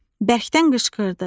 Bərkdən qışqırdı.